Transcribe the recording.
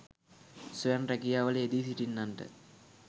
ස්වයං රැකියාවල යෙදී සිටින්නන්ට